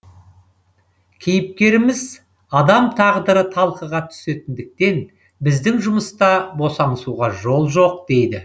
кейіпкеріміз адам тағдыры талқыға түсетіндіктен біздің жұмыста босаңсуға жол жоқ дейді